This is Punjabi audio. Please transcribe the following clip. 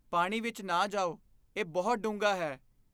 ਪਾਣੀ ਵਿੱਚ ਨਾ ਜਾਓ। ਇਹ ਬਹੁਤ ਡੂੰਘਾ ਹੈ!